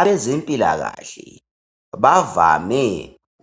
Abezempilakahle bavame